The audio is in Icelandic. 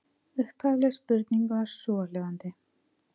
Upphafleg spurning var svohljóðandi: